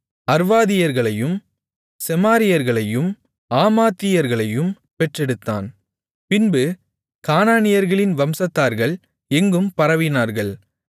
அர்வாதியர்களையும் செமாரியர்களையும் ஆமாத்தியர்களையும் பெற்றெடுத்தான் பின்பு கானானியர்களின் வம்சத்தார்கள் எங்கும் பரவினார்கள்